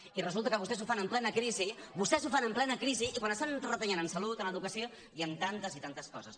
i resulta que vostès ho fan en plena crisi vostès ho fan en plena crisi i quan estan retallant en salut en educació i en tantes i tantes coses